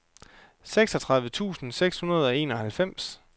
seksogtredive tusind seks hundrede og enoghalvfems